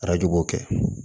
Arajo b'o kɛ